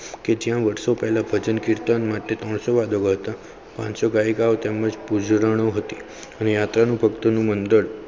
કે ત્યાં વર્ષો પહેલાં ભજન કીર્તન માટેત્રણસો વાર દબાવતા પાનસો ગાયિકાઓ તેમની પૂજરાણી હતી યાત્રા ભક્ત મંડળ.